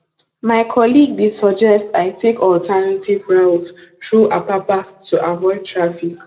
my colleague dey suggest i take alternative route through apapa to avoid traffic